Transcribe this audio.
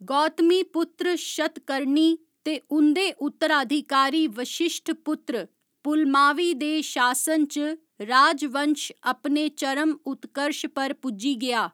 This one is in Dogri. गौतमीपुत्र शतकर्णी ते उं'दे उत्तराधिकारी वशिश्ठपुत्र पुलमावी दे शासन च राजवंश अपने चरम उत्कर्श पर पुज्जी गेआ।